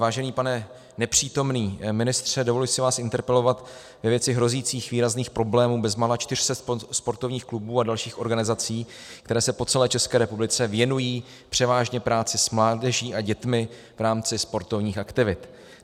Vážený pane nepřítomný ministře, dovoluji si vás interpelovat ve věci hrozících výrazných problémů bezmála 400 sportovních klubů a dalších organizací, které se po celé České republice věnují převážně práci s mládeží a dětmi v rámci sportovních aktivit.